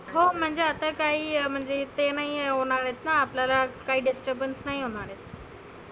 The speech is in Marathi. हो म्हणजे आता काही म्हणजे ते नाहीए होणार आहेतना. आपल्याला काही disturbens नाही होणार आहे.